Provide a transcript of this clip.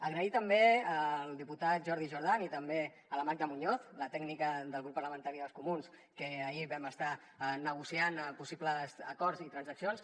agrair també al diputat jordi jordan i també a la magda muñoz la tècnica del grup parlamentari dels comuns que ahir vam estar negociant possibles acords i transaccions